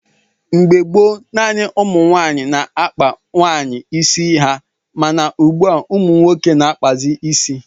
Mgbe gboo, naanị ụmụ nwaanyị na-akpa nwaanyị ịsị ha, mana ugbua umunwoke na-akpazi isi.